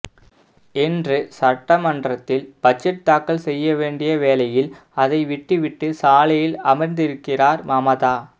இன்று சட்டமன்றத்தில் பட்ஜெட் தாக்கல் செய்ய வேண்டிய வேளையில் அதை விட்டுவிட்டு சாலையில் அமர்ந்திருக்கிறார் மமதா